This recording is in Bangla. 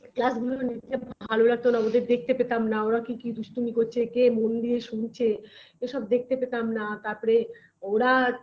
Class -গুলো নিতে ভালো লাগতো না ওদের দেখতে পেতাম না ওরা কে কি দুষ্টুমি করছে কে মন দিয়ে শুনছে এসব দেখতে পেতাম না তারপরে ওরা